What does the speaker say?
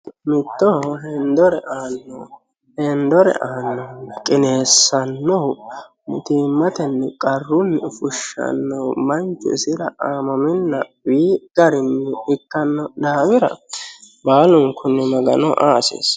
mittooho hendore aanno heendore aanno qineessannohu mutiimmatenni qarrunni fushshannohu manchu isira aamaminna uyi garinni ikkanno daafira baalunkunni magano aa hasiissanno.